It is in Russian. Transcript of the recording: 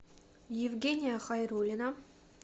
евгения хайруллина